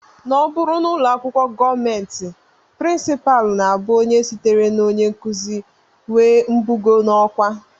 Ọ bụrụ n'ụlọakwụkwọ gọọmenti, prinsipal na-abụ onye sitere na onyenkụzi nwee mbugo n'ọkwá